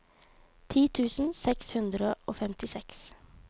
ti tusen seks hundre og femtiseks